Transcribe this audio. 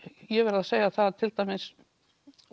ég verð að segja að til dæmis